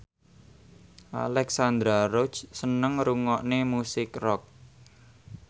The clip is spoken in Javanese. Alexandra Roach seneng ngrungokne musik rock